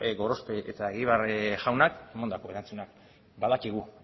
gorospek eta egibar jaunak emandako erantzuna badakigu